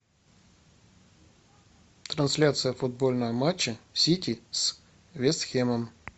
трансляция футбольного матча сити с вест хэмом